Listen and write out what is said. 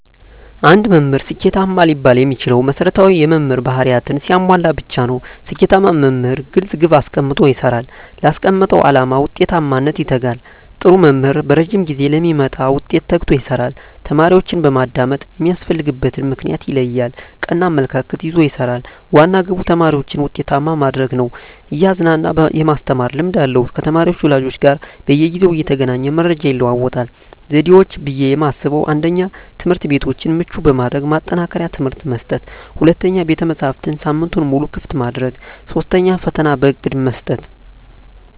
አንድ መምህር ስኬታማ ሊባል የሚችለው መሰረታዊ የመምህር ባህርያትን ሲያሟላ ብቻ ነው። ስኬታማ መምህር ግልፅ ግብ አስቀምጦ ይሰራል: ላስቀመጠው አላማ ውጤታማነት ይተጋል, ጥሩ መምህር በረዥም ጊዜ ለሚመጣ ውጤት ተግቶ ይሰራል። ተማሪዎችን በማዳመጥ የሚያስፈልግበትን ምክንያት ይለያል ,ቀና አመለካከት ይዞ ይሰራል, ዋና ግቡ ተማሪዎችን ውጤታማ ማድረግ ነው እያዝናና የማስተማር ልምድ አለው ከተማሪ ወላጆች ጋር በየጊዜው እየተገናኘ መረጃ ይለዋወጣል። ዘዴዎች ብዬ የማስበው 1ኛ, ትምህርትቤቶችን ምቹ በማድረግ ማጠናከሪያ ትምህርት መስጠት 2ኛ, ቤተመፅሀፍትን ሳምንቱን ሙሉ ክፍት ማድረግ 3ኛ, ፈተና በእቅድ መስጠት።